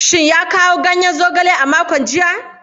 Shin ya kawo ganyen zogale a makon jiya?